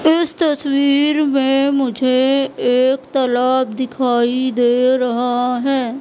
इस तस्वीर में मुझे एक तालाब दिखाई दे रहा है।